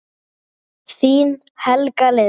Þín, Helga Lind.